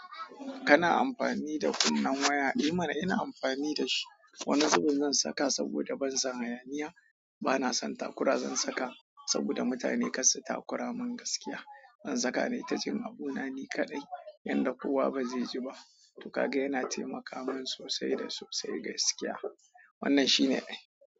Kana amfani da kunnen waya, emana ina amfani da shi. Wani zubin zan saka saboda ban san hayaniya, bana son takura zan saka saboda mutane ƙassu takura min gaskiya. Zan saka nai abunani kaɗai yanda kowa ba zai ji ba. Tokaga yana taimaka mini sosai da sosai gaskiya. Wannan shine.